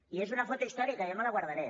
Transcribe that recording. i és una foto històrica jo me la guardaré